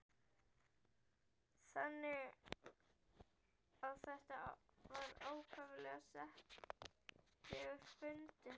Þannig að þetta var ákaflega settlegur fundur.